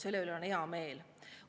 Selle üle on hea meel.